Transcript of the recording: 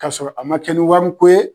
K k'a sɔrɔ a ma kɛ ni wari ko ye.